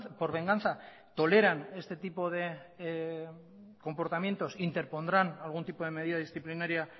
por venganza toleran este tipo de comportamientos interpondrán algún tipo de medida disciplinaría